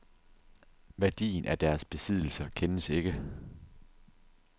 Værdien af deres besiddelser kendes ikke.